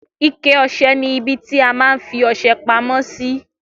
Ike ọsẹ ni ibi ti a má n fi ọsẹ pamó sí